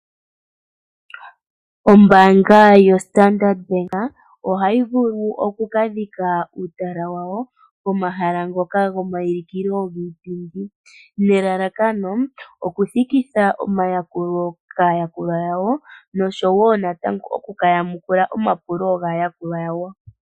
Ombaanga yoStandard Bank ohayi vulu okukadhika uutala wawo pomahala ngoka gomaulikilo giipindi. Nelalakano okuthikitha omayakulo kaayakulwa yawo noshowo okukayamukula omapulo gaayakulwa yawo.